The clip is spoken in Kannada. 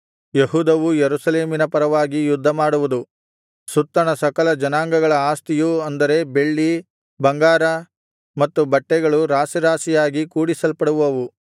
ಯೆಹೂದವೂ ಯೆರೂಸಲೇಮಿನ ಪರವಾಗಿ ಯುದ್ಧಮಾಡುವುದು ಸುತ್ತಣ ಸಕಲ ಜನಾಂಗಗಳ ಆಸ್ತಿಯು ಅಂದರೆ ಬೆಳ್ಳಿ ಬಂಗಾರ ಮತ್ತು ಬಟ್ಟೆಗಳು ರಾಶಿರಾಶಿಯಾಗಿ ಕೂಡಿಸಲ್ಪಡುವವು